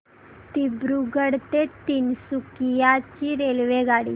दिब्रुगढ ते तिनसुकिया ची रेल्वेगाडी